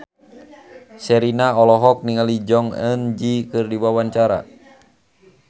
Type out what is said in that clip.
Sherina olohok ningali Jong Eun Ji keur diwawancara